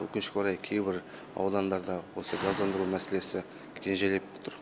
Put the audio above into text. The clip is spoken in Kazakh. өкінішке орай кейбір аудандарда осы газдандыру мәселесі кенжелеп тұр